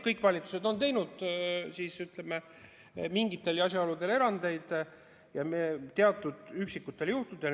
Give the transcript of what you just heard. Kõik valitsused on teinud mingitel asjaoludel erandeid, teatud üksikutel juhtudel.